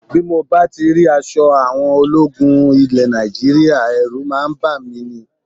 Bí mo bá ti rí aṣọ àwọn ológun ilẹ̀ Nàìjíríà, ẹ̀rù máa ń bà mí ní